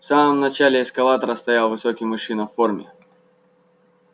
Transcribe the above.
в самом начале эскалатора стоял высокий мужчина в форме